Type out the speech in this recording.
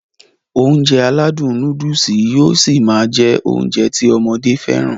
Ounjẹ aládùn nóódùsì yóó ṣi máá jẹ́ Ounjẹ ti ọmọdé fẹ́ràn